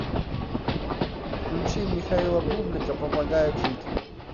включи михаила бублика помогает жить